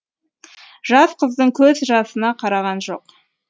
жас қыздың көз жасына қараған жоқ